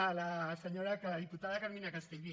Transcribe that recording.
a la senyora a la diputada carmina castellví